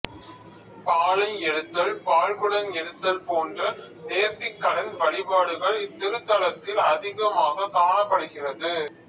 பாலை எடுத்தல்பால்குடம் எடுத்தல் போன்ற நேர்த்திக்கடன் வழிபாடுகள் இத்திருத்தலத்தில் அதிகமாக காணப்படுகிறது